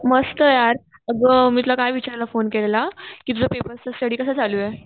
मस्त यार, आग मी तुला काय विचारायला फोन केलेला कि तुझा पेपरचा स्टडी कसा चालूये?